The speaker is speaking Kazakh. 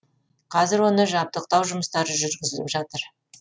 қазір оны жабдықтау жұмыстары жүргізіліп жатыр